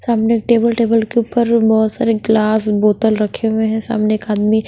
सामने एक table table के ऊपर बहुत सारे ग्लास बोतल रखे हुए हैं सामने एक आदमी--